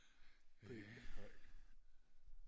øh ja